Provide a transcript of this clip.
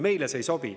Meile see ei sobi.